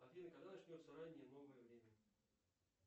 афина когда начнется раннее новое время